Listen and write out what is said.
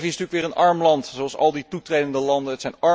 Servië is natuurlijk weer een arm land, zoals al die toetredende landen.